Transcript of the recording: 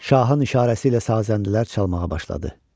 Şahın işarəsi ilə sazəndələr çalmağa başladı.